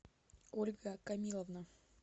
ольга камиловна